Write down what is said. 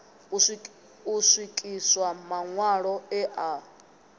u swikiswa maṋwalo e a